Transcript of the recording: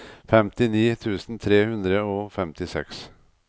femtini tusen tre hundre og femtiseks